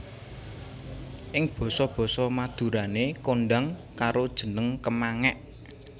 Ing basa basa Madurané kondhang karo jeneng kemangék